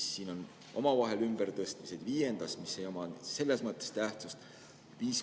Ja siis on omavahel ümbertõstmised viiendas ettepanekus, mis ei oma selles mõttes tähtsust.